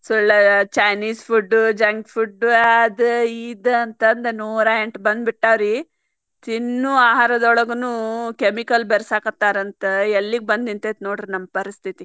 chinese food junk food ಅದ ಇದ್ ಅಂತಂದ್ ನೂರಾಎಂಟ್ ಬಂದ್ಬಿಟ್ಟಾವ್ರಿ ತಿನ್ನುವ ಆಹಾರದೊಳಗನು chemical ಬೆರಸಾಕತ್ತಾರಂತ ಎಲ್ಲಿಗೆ ಬಂದ್ ನಿಂತೇತಿ ನೋಡ್ರಿ ನಮ್ಮ್ ಪರಿಸ್ಥಿತಿ.